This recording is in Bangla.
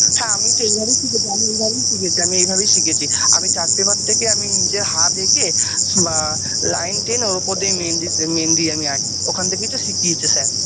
হ্যাঁ আমি তো এই ভাবেই শিখেছি আমি এই ভাবেই শিখেছি আমি এই ভাবেই শিখেছি আমি chart paper থেকে আমি নিজের হাত একে বা line টেনে ওর উপর দিয়ে মেহেন্দিজ মেহেন্দি আমি আঁকি ওখান থেকেই তো শিখিয়েছে sir